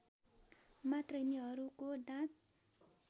मात्र यिनिहरूको दाँत